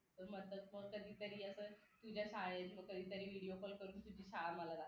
तर म्हटलं मग कधी तरी असं तुझ्या शाळेतून कधीतरी video call तुझी शाळा मला दाखव